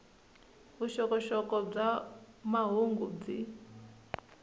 vuxokoxoko bya mahungu byi